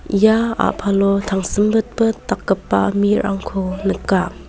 ia a·palo tangsimbitbit dakgipa mirangko nika.